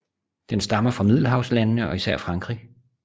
Den stammer fra Middelhavslandene og især Frankrig